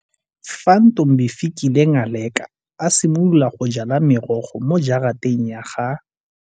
Fa Ntombifikile Ngaleka a simolola go jala merogo mo jarateng ya ga.